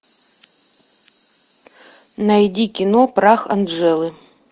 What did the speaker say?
найди кино прах анджелы